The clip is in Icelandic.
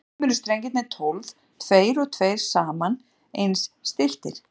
Stundum eru strengirnir tólf, tveir og tveir saman og eins stilltir.